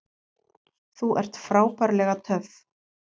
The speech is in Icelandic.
Þú ert frábærlega töff!